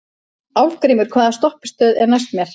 Álfgrímur, hvaða stoppistöð er næst mér?